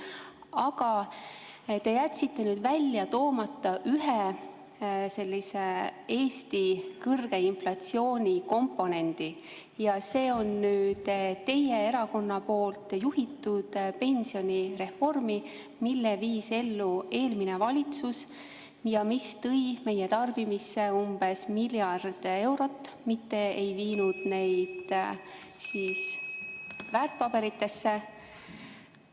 Aga te jätsite välja toomata ühe Eesti kõrge inflatsiooni komponendi – teie erakonna juhitud pensionireformi, mille viis ellu eelmine valitsus ja mis tõi meie tarbimisse umbes miljard eurot, mitte ei viinud neid väärtpaberitesse.